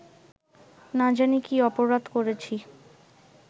না জানি কী অপরাধ করেছি